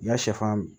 N ka sɛfan